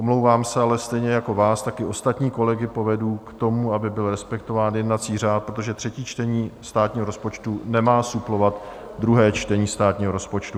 Omlouvám se, ale stejně jako vás, tak i ostatní kolegy povedu k tomu, aby byl respektován jednací řád, protože třetí čtení státního rozpočtu nemá suplovat druhé čtení státního rozpočtu.